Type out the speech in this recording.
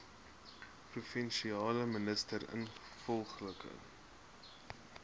provinsiale minister ingevolge